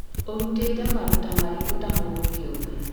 ũrutĩte maruta marĩkũ ta mũndũ kĩũmbe